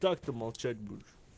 как ты молчать будешь